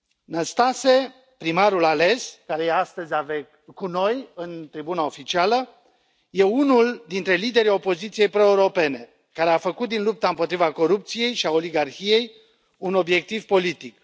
Năstase, primarul ales, care este astăzi cu noi, în tribuna oficială, este unul dintre liderii opoziției proeuropene, care a făcut din lupta împotriva corupției și a oligarhiei un obiectiv politic.